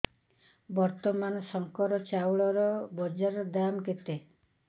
ବର୍ତ୍ତମାନ ଶଙ୍କର ଚାଉଳର ବଜାର ଦାମ୍ କେତେ